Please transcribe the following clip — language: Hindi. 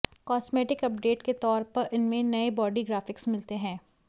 कॉस्मेटिक अपडेट के तौर पर इसमें नए बॉडी ग्राफिक्स मिलते हैं